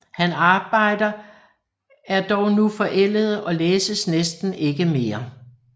Hans arbejder er dog nu forældede og læses næsten ikke mere